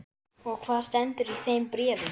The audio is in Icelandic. Og hvað stendur í þeim bréfum?